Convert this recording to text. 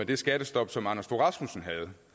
det skattestop som anders fogh rasmussen